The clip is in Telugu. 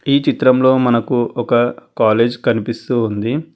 ఈ చిత్రంలో మనకు ఒక కాలేజ్ కనిపిస్తుంది.